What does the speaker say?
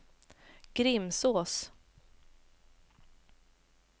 Grimsås